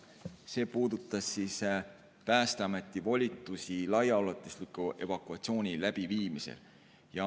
See puudutas Päästeameti volitusi laiaulatusliku evakuatsiooni läbiviimisel.